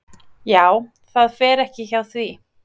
Já, það fer ekki hjá því.